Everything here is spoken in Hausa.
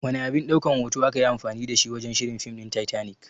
Wana abin ɗaukan hoto akayi anfani dashi wajan shirin fim ɗin Titanic?